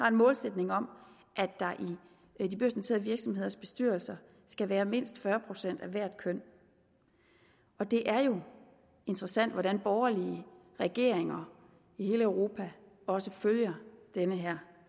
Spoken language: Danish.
en målsætning om at der i de børsnoterede virksomheders bestyrelser skal være mindst fyrre procent af hvert køn det er jo interessant hvordan borgerlige regeringer i hele europa også følger den her